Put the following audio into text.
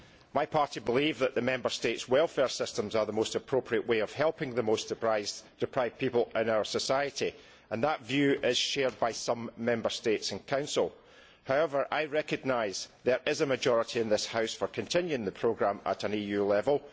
My party believes that the Member States' welfare systems are the most appropriate way of helping the most deprived people in our society, and that view is shared by some Member States and the Council. However, I recognise that there is a majority in this House in favour of continuing the programme at EU level.